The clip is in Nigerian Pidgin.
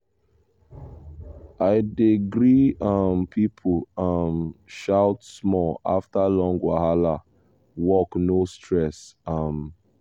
i dey gree um people um shout small after long wahala work no stress um